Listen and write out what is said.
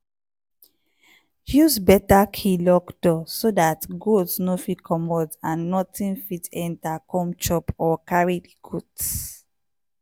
use better key lock door so dat goat no fit commot and nothing fit enter come chop or carry di goat.